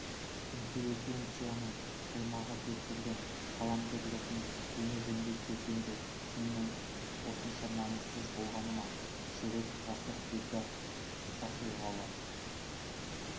интеллигенцияның қаймағы деп жүрген қаламгерлердің жеме-жемге келгенде шынымен осынша намыссыз болғаны ма ширек ғасыр дегдар сахилығы